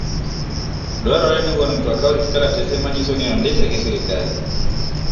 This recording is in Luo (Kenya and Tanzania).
Dwarore ni wuon mtoka orit kalatese manyiso ni ondike gi sirkal.